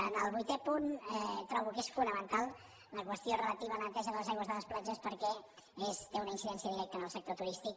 en el vuitè punt trobo que és fonamental la qüestió relativa a la neteja de les aigües de les platges perquè té una incidència directa en el sector turístic